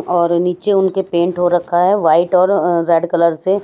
और नीचे उनके पेंट हो रखा है व्हाइट और अह रेड कलर से